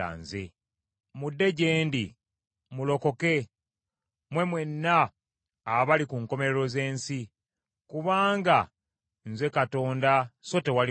“Mudde gye ndi, mulokoke, mmwe mwenna abali ku nkomerero z’ensi, kubanga nze Katonda so tewali mulala.